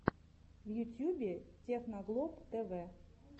в ютьюбе техноглоб тэвэ